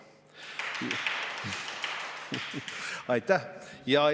Aitäh!